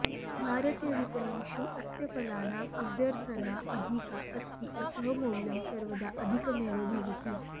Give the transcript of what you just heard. भारतीयविपणिषु अस्य फलानाम् अभ्यर्थना अधिका अस्ति अतः मौल्यं सर्वदा अधिकमेव भवति